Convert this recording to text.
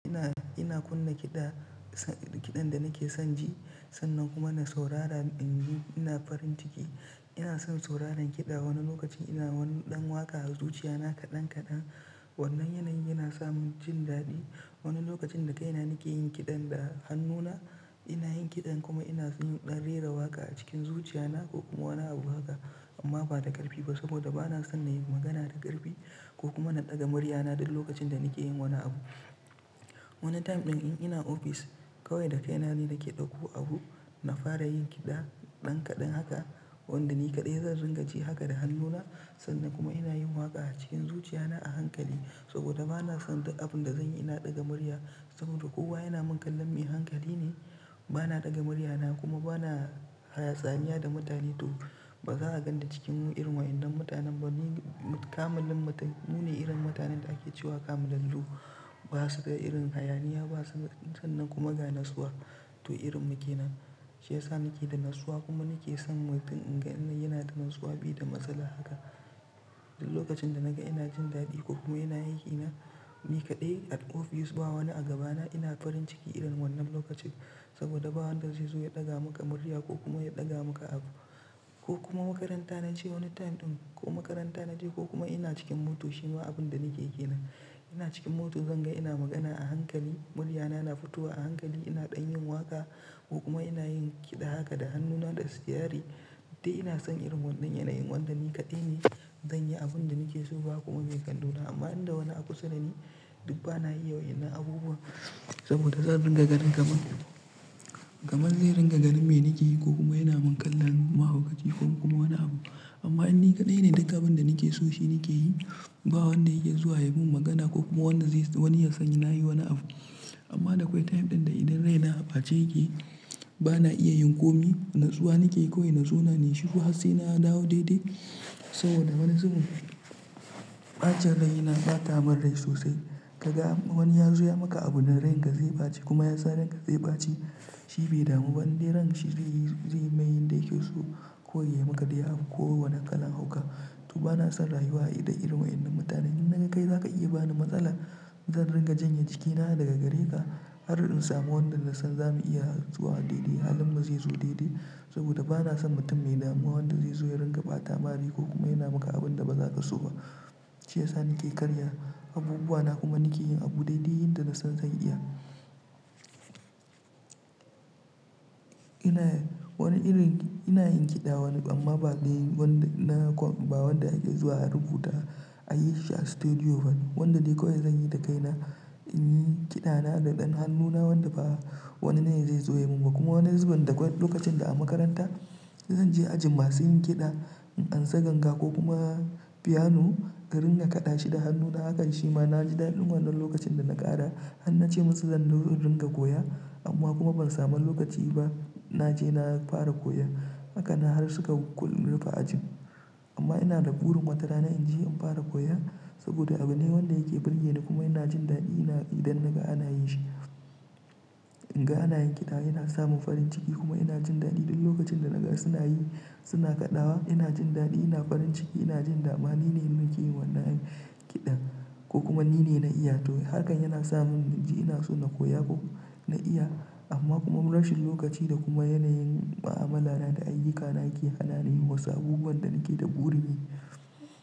Ina, ina kunna kiɗa, sa, kiɗan da nake son ji sannan kuma na saurara, in ji ina farin ciki. Ina son sauraran kiɗa, wani lokacin ina wani ɗan waƙa a zuciya na kaɗan kaɗan. Wannan yanayin yana samun jin daɗi. Wani lokacin da kaina nake yin kiɗan da hannuna, ina yin kiɗan kuma ina yin ɗan rera waƙa a cikin zuciya na ko wani abu haka amma ba da ƙarfi ba saboda bana son na yi magana da ƙarfi ko kuma na ɗaga murya na du lokacin da nake yin wani abu. Wani time ɗin in ina ofis kawai da kaina ne nake ɗauko abu, na fara yin kiɗa ɗan kaɗan haka, wanda ni kaɗai zan ringa ji haka da hannu na, sannan kuma ina yin waƙa acikin zuciyana ahankali saboda bana duk abun da zanyi ina ɗaga murya, saboda kowa yana mun kallon me hankali ne bana ɗaga murya na kuma bana haya tsaniya da mutane to ba za'a ganni cikin irin wayannan mutanen ba ni kamilin mutun mu ne irin mutanen da ake cewa kamilallu. Basu da irin hayaniya basu sannan kuma ga natsuwa. To irin mu kenan. Shi yasa nake da natsuwa kuma nake son mutun in ga in yana da natsuwa be da matsala haka. Dul lokacin da naga ina jin daɗi ko kuma ina aikina ni kaɗai at office ba wani a gabana ina farin ciki irin wannan lokaci saboda ba wanda zai zo ya ɗaga muka murya ko kuma ya ɗaga maka abu ko kuma makaranta naje wani time ɗin ko makaranta na je ko kuma ina cikin moto shima abun da nake yi kenan. Ina cikin moto zan ga ina magana a hankali, murya na na fitowa a hankali, ina ɗan yin waƙa ko kuma ina yin kiɗa haka da hannuna da sitiyari. Dai ina son irin wannan yanayin wanda ni kaɗai ne zan yi abun da nake so ba kuma me kallo na amma inda wani akusa dani duk bana iya wa'innan abubuwan saboda zan ringa ganin kaman, kaman zai ringa ganin me nake yi ko kuma yana mun kallon mahaukaci ko kuma wani abu. Amma in ni kaɗai ne duk abun da nake so shi nake yi ba wanda yake zuwa ya mun magana ko kuma wanda zai wani ya san na yi wani abu. Amma da kwai time ɗin da idan rai na a ɓace yake bana iya yin komi. Natsuwa nake yi kawai na zona nayi shuru ha se na dawo daidai saboda wani zubin ɓacen rai na ɓata mun rai sosai. Ka ga wani ya zo ya maka abu da ranka zai ɓace kuma yasan ranka zai ɓace. Shi bai damu ba indai ran shi zai yi, zai mai yin da yake so, koi ya yi maka dai abu ko wani kalan hauka. To bana son rayuwa a ida irin wa in nan mutanen in naga kai zaka iya bani matsala zan ringa janye cikina daga gare ka har in samu wanda na san za mu iya zuwa daidai halin mu zai zo daidai saboda bana son mutun me damuwa wanda zai zo ya ringa ɓata mari ko kuma yana maka abun da ba za ka so ba. Shi yasa nake karya abubuwa na kuma nake yin abu daidai yadda na san zan iya. Ina wani irin, ina yin kiɗa wan amma ba dai wanda na kom, ba wanda ake zuwa a rubuta, ayi shi a stadio ba. Wanda dai koi zanyi da kaina, inyi kiɗana da ɗan hannu na wanda ba wanine zai zo yamun ba, kuma wani zubin da gwa lokacin da a makaranta zan je ajin masu yin kiɗa in an sa ganga ko kuma Piano karin ga kaɗa shi da hannuna hakan shi ma na ji daɗin wannan lokacin da na ƙara har na ce musu zan do in ringa koya amma kuma ban samu lokaci ba na je na fara koya. Haka na har suka kul rufe ajin. Amma ina da burin watarana in je in fara koya saboda abu ne wanda yake ɓurge ni kuma ina jin daɗi idan naga ana yin shi. In ga ana yin kiɗa yana samun farin ciki kuma ina jin daɗi dul lokacin da naga suna yi suna kaɗawa ina jin daɗi ina farin ciki ina jin dama ni ne nake yin wannan kiɗan ko kuma ni ne na iya to harkan yana samun in ji ina so na koya ko na iya amma kuma rashin lokaci da kuma yanayin ma'amalana da ayyukana ke hana ni yi wasu abubuwan da nake da burin yi.